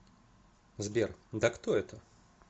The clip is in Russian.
сбер да кто это